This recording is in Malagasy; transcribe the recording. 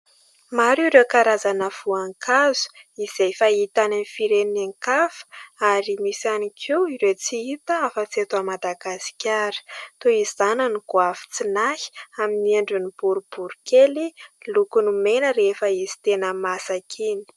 Maro ireo karazana voankazo izay fahitana any amin'ny firenen-kafa ary misy ihany koa ireo tsy hita hafa-tsy eto Madagasikara. Toy izany ny goavitsinahy amin'ny endriny boribory kely, lokony mena rehefa izy tena masaka iny.